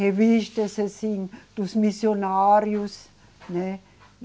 Revistas assim, dos missionários, né?